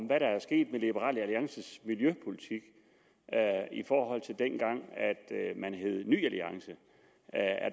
hvad der er sket med liberal alliances miljøpolitik i forhold til dengang man hed ny alliance